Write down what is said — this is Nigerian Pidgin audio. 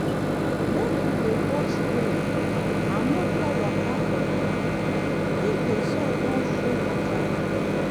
make you dey watch rain and no pour water for ground if the the soil don full water.